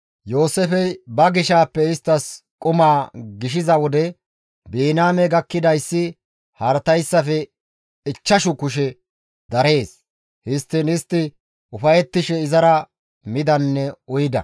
Yooseefey ba gishaappe isttas qumaa gishiza wode, Biniyaame gakkidayssi haratayssafe ichchashu kushe darees; histtiin istti ufayettishe izara midanne uyida.